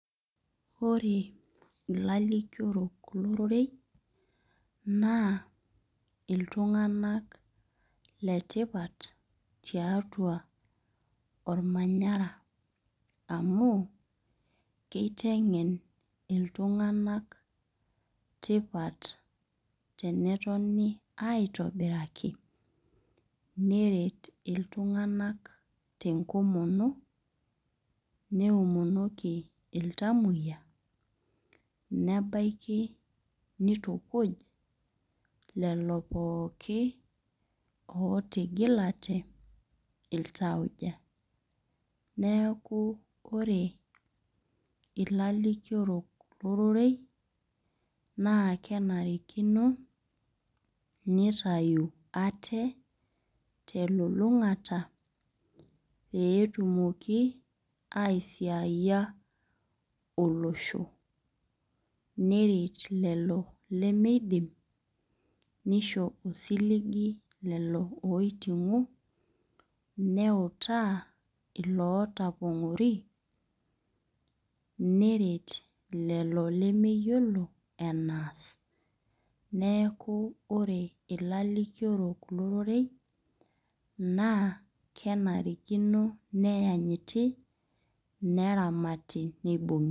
Ore ilalikiorok lororei, naa iltung'anak letipat tiatua ormanyara amu, kiteng'en iltung'anak tipat tenetoni aitobiraki, neret iltung'anak tenkomono, neomonoki iltamoyia, nebaiki nitukuj, lelo pooki otigilate iltauja. Neeku ore ilalikiorok lororei, naa kenarikino nitayu ate, telulung'ata petumoki aisiaiyia olosho. Neret lelo lemeidim, nisho osiligi lelo oiting'o, neutaa ilootapong'ori, neret lelo lemeyiolo enaas. Neeku ore ilalikiorok lororei, naa kenarikino neanyiti, neramati nibung'i.